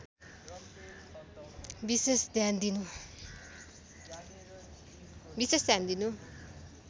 विशेष ध्यान दिनु